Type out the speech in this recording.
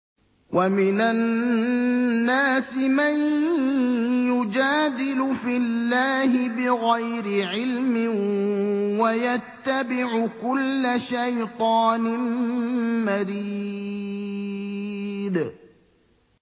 وَمِنَ النَّاسِ مَن يُجَادِلُ فِي اللَّهِ بِغَيْرِ عِلْمٍ وَيَتَّبِعُ كُلَّ شَيْطَانٍ مَّرِيدٍ